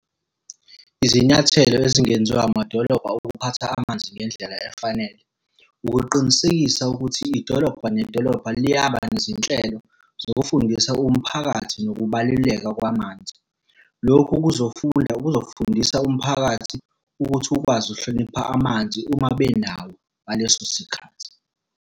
Izinyathelo ezingenziwa amadolobha ukuphatha amanzi ngendlela efanele. Ukuqinisekisa ukuthi idolobha nedolobha liyaba nezinhlelo zokufundisa umphakathi ngokubaluleka kwamanzi. Lokhu kuzofunda kuzofundisa umphakathi ukuthi ukwazi ukuhlonipha amanzi uma benawo ngaleso sikhathi.